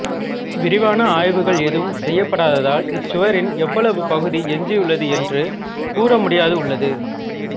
விரிவான ஆய்வுகள் எதுவும் செய்யப்படாததால் இச்சுவரின் எவ்வளவு பகுதி எஞ்சியுள்ளது என்று கூறமுடியாதுள்ளது